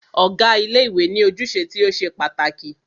Ọ̀gá ilé ìwé ní ojúṣe tí o ṣe pàtàkì.